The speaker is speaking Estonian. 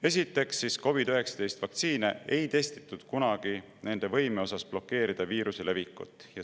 Esiteks, COVID‑19 vaktsiine ei testitud kunagi nende võime osas blokeerida viiruse levikut.